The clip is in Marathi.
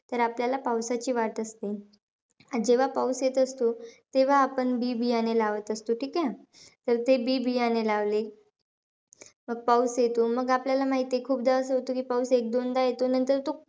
तर आपल्याला पाऊसाची वाट असते. जेव्हा पाऊस येत असतो, तेव्हा आपण बी-बियाणे लावत असतो. ठीके? तर ते बी-बियाणे लावले. मग पाऊस येतो. मग आपल्याला माहितीयं खूपदा असं होत की, पाऊस एकदोनदा येतो. नंतर तो,